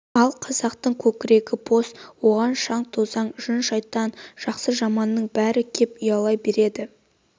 ал қазақтың көкірегі бос оған шаң-тозаң жын-шайтан жақсы-жаманның бәрі кеп ұялай береді